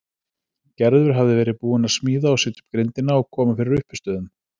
Gerður hafði verið búin að smíða og setja upp grindina og koma fyrir uppistöðum.